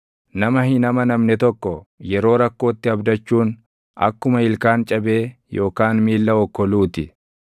Nama hin amanamne tokko yeroo rakkootti abdachuun akkuma ilkaan cabee yookaan miilla okkoluu ti.